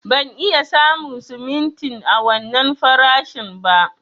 Ban iya samu simintin a wannan farashin ba.